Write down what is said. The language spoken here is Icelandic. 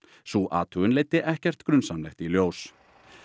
sú athugun leiddi ekkert grunsamlegt í ljós